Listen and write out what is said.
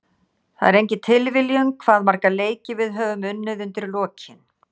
Það er engin tilviljun hvað marga leiki við höfum unnið undir lokin.